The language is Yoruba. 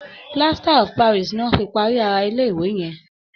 Plaster of Paris ni wón fi parí ara ilé ìwé yẹn.